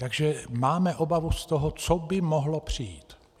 Takže máme obavu z toho, co by mohlo přijít.